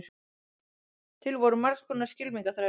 til voru margs konar skylmingaþrælar